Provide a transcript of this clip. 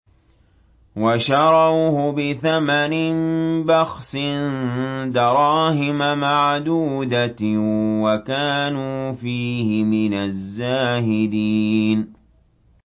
وَشَرَوْهُ بِثَمَنٍ بَخْسٍ دَرَاهِمَ مَعْدُودَةٍ وَكَانُوا فِيهِ مِنَ الزَّاهِدِينَ